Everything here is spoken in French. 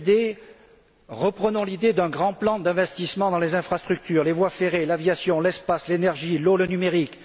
Deuxième idée, reprenons l'idée d'un grand plan d'investissements dans les infrastructures, les voies ferrées, l'aviation, l'espace, l'énergie, l'eau, le numérique.